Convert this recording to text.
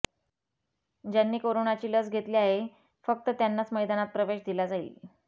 ज्यांनी करोनाची लस घेतली आहे फक्त त्यांनाच मैदानात प्रवेश दिला जाईल